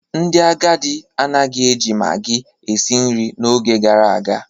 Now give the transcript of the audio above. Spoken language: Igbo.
Ndị agadi anaghị eji maggi esi nri n'oge gara aga.